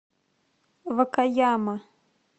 вакаяма